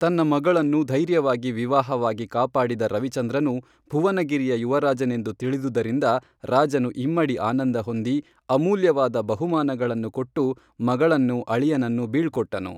ತನ್ನ ಮಗಳನ್ನು ಧೈರ್ಯವಾಗಿ ವಿವಾಹವಾಗಿ ಕಾಪಾಡಿದ ರವಿಚಂದ್ರನು ಭುವನ ಗಿರಿಯ ಯುವರಾಜನೆಂದು ತಿಳಿದುದರಿಂದ ರಾಜನು ಇಮ್ಮಡಿ ಆನಂದ ಹೊಂದಿ ಅಮೂಲ್ಯವಾದ ಬಹುಮಾನಗಳನ್ನು ಕೊಟ್ಟು ಮಗಳನ್ನೂ ಅಳಿಯನನ್ನೂ ಬೀಳ್ಕೊಟ್ಟನು